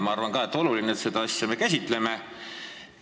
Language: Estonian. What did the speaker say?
Ma arvan ka, et on oluline seda asja käsitleda.